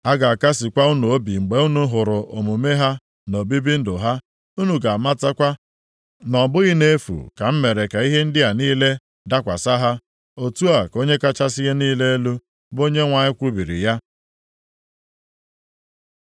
A ga-akasịkwa unu obi mgbe unu hụrụ omume ha na obibi ndụ ha, unu ga-amatakwa na ọ bụghị nʼefu ka m mere ka ihe ndị a niile dakwasị ha.” Otu a ka Onye kachasị ihe niile elu, bụ Onyenwe anyị kwubiri ya.